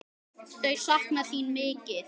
Þau sakna þín mikið.